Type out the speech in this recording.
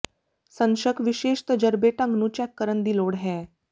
ਸਨ ਸ਼ੱਕ ਵਿਸ਼ੇਸ਼ ਤਜਰਬੇ ਢੰਗ ਨੂੰ ਚੈੱਕ ਕਰਨ ਦੀ ਲੋੜ ਹੈ